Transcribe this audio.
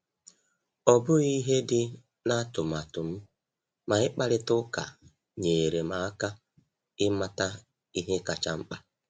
Ọ bụghị ihe dị na atụmatụ m, ma ịkparịta ụka nyeere m aka ịmata ihe kacha mkpa.